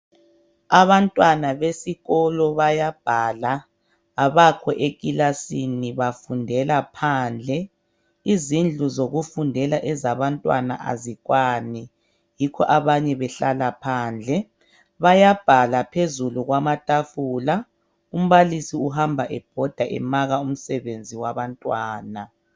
Abantwana besikolo bayabhala abakho ekilasini bafundela phandle izindlu zokufundela ezabantwana azikwani yikho abanye behlala phandle bayabhala phezulu kwamatafula umbalisi uhamba ebhoda emaka umsebenzi wabantwana